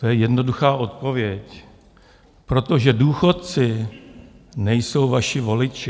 To je jednoduchá odpověď - protože důchodci nejsou vaši voliči.